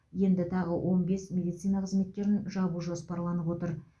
енді тағы он бес медицина қызметкерін жіберу жоспарланып отыр